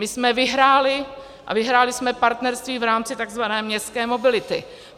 My jsme vyhráli a vyhráli jsme partnerství v rámci tzv. městské mobility.